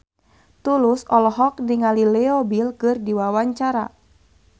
Tulus olohok ningali Leo Bill keur diwawancara